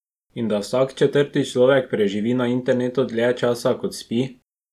In da vsak četrti človek preživi na internetu dlje časa, kot spi?